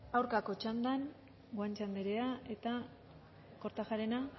aurkako txandan guanche anderea eta kortajarena